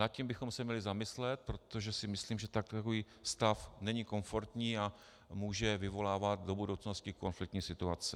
Nad tím bychom se měli zamyslet, protože si myslím, že takový stav není komfortní a může vyvolávat do budoucnosti konfliktní situace.